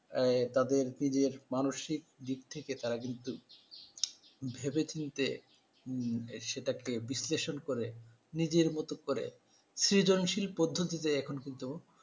তাদের মানসিক দিক থেকে তারা কিন্তু ভেবেচিন্তে সেটাকে বিশ্লেষণ করে নিজের মতো করে সৃজনশীল পদ্ধতিতে এখন কিন্তু